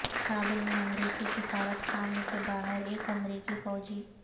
کابل میں امریکی سفارتخانے کے باہر ایک امریکی فوجی